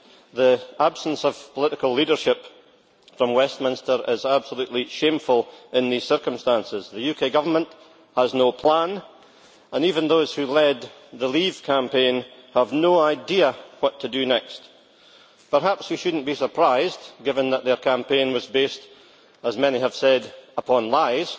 The absence of political leadership from Westminster is absolutely shameful in these circumstances. The UK Government has no plan, and even those who led the leave campaign have no idea what to do next. Perhaps we should not be surprised, given that their campaign was based as many have said upon lies,